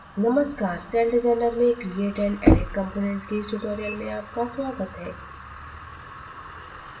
नमस्कार celldesigner में create and edit components के इस tutorial में आपका स्वागत है